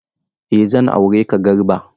Eh zan aureka Garba.